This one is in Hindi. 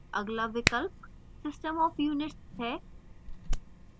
अगला विकल्प system of units है